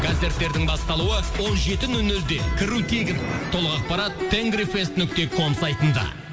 концерттердің басталуы он жеті нөл нөлде кіру тегін толық ақпарат тенгрифест нүкте ком сайтында